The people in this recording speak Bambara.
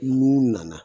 N'u nana